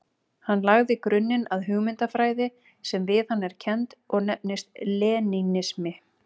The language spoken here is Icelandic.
Hann lagði grunninn að hugmyndafræði sem við hann er kennd og nefnist lenínismi.